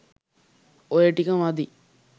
ඔය ටික මදි.